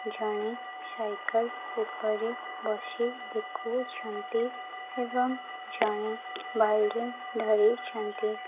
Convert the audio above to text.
ଜଣେ ସାଇକଲ ଉପରେ ବସି ଦେଖୁଛନ୍ତି ଏବଂ ଜଣେ ବାଲଡିଂ ଧରିଛନ୍ତି।